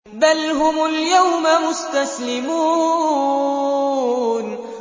بَلْ هُمُ الْيَوْمَ مُسْتَسْلِمُونَ